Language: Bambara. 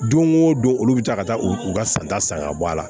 Don o don olu bɛ taa ka taa u u ka santa san ka bɔ a la